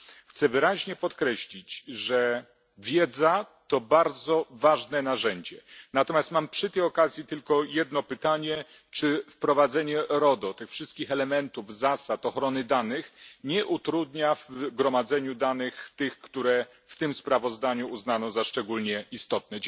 Chcę wyraźnie podkreślić, że wiedza to bardzo ważne narzędzie, natomiast mam przy tej okazji tylko jedno pytanie czy wprowadzenie RODO, tych wszystkich elementów, zasad, ochrony danych, nie utrudnia w gromadzeniu danych, tych, które w tym sprawozdaniu uznano za szczególnie istotne?